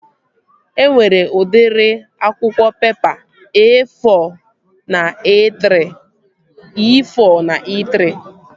E nwere udịri akwụkwọ pepa E-fọ na E-trị